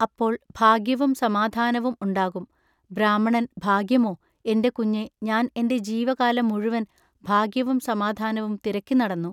അപ്പോൾ ഭാഗ്യവും സമാധാനവും ഉണ്ടാകും. ബ്രാഹ്മണൻ ഭാഗ്യമോ എന്റെ കുഞ്ഞെ ഞാൻ എന്റെ ജീവകാലം മുഴുവൻ ഭാഗ്യവും സമാധാനവും തിരക്കി നടന്നു.